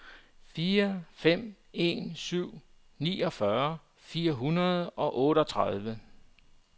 fire fem en syv niogfyrre fire hundrede og otteogtredive